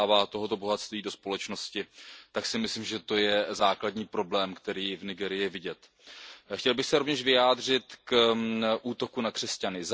tohoto bohatství dostává do společnosti, tak si myslím, že to je základní problém, který je v Nigérii vidět. Chtěl bych se rovněž vyjádřit k útoku na křesťany.